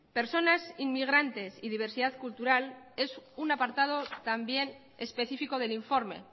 personas inmigrantes y diversidad cultural es un apartado también específico del informe